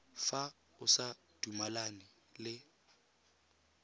fa o sa dumalane le